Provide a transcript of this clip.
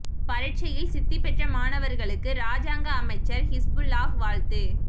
பரீட்சையில் சித்தி பெற்ற மாணவர்களுக்கு இராஜாங்க அமைச்சர் ஹிஸ்புல்லாஹ் வாழ்த்து